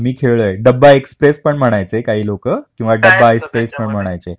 हा मी खेळलोय. डब्बा एक्सप्रेस पण म्हणायचे काही लोकं किंवा डब्बा ऐस पैस पण म्हणायचे.